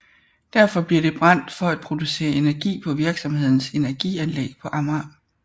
Derfor bliver det brændt for at producere energi på virksomhedens energianlæg på Amager